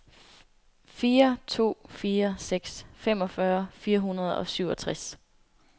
fire to fire seks femogfyrre fire hundrede og syvogtres